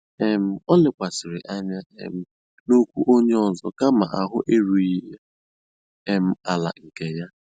um Ó lékwàsị̀rị́ ányá um n'ókwú ónyé ọ́zọ́ kámà áhụ̀ érúghị́ um àlà nkè yá.